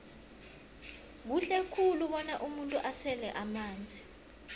kuhle khulu bona umuntu asele amanzi